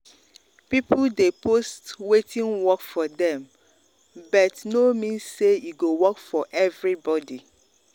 people dey post wetin work for dem but but no mean say e go work for everybody.